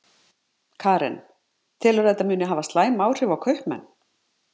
Karen: Telurðu að þetta muni hafa slæm áhrif á kaupmenn?